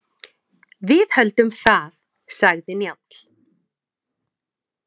Við höldum það, sagði Njáll.